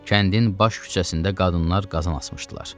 Kəndin baş küçəsində qadınlar qazan asmışdılar.